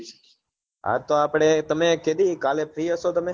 હા તો આપડે તમે કે દી કાલે free હસો તમે